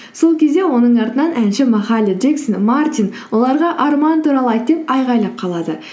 сол кезде оның артынан әнші махалия джексон мартин оларға арман туралы айт деп айқайлап қалады